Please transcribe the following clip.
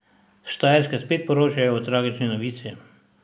S Štajerske spet poročamo o tragični novici.